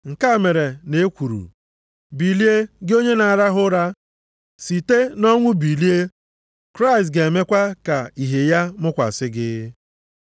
Nke a mere na e kwuru, “Bilie gị onye na-arahụ ụra. Site nʼọnwụ bilie. Kraịst ga-emekwa ka ihe ya mụkwasị gị.”